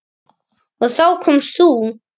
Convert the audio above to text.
Og þá komst þú.